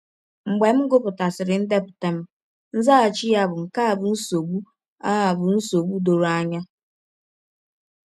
Mgbe m gụpụtasịrị ndepụta m, nzaghachi ya bụ: “ Nke a bụ nsọgbụ a bụ nsọgbụ dọrọ anya.